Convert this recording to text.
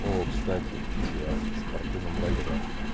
о кстати я в спортивном лагере